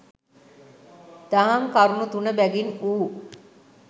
දහම් කරුණු තුන බැගින් වූ